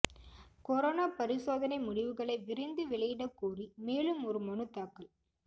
corona பரிசோதனை முடிவுகளை விரைந்து வெளியிடக் கோரி மேலும் ஒரு மனு தாக்கல்